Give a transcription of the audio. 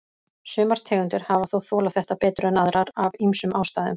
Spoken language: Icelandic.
Sumar tegundir hafa þó þolað þetta betur en aðrar, af ýmsum ástæðum.